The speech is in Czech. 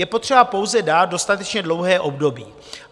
Je potřeba pouze dát dostatečně dlouhé období.